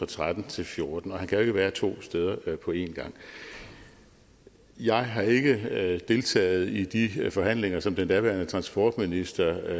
tretten til fjorten og han kan jo ikke være to steder på en gang jeg har ikke deltaget i de forhandlinger som den daværende transportminister